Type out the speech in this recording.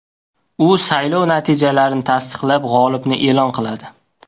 U saylov natijalarini tasdiqlab, g‘olibni e’lon qiladi.